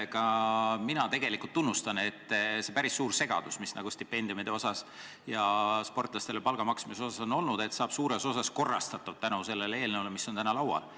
Ka mina tegelikult tunnustan, et see päris suur segadus, mis sportlastele stipendiumide ja palga maksmisel on olnud, saab suures osas likvideeritud tänu sellele eelnõule, mis meil täna laual on.